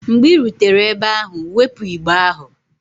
Mgbe ị rutere ebe ahụ, wepụ igbe ahụ!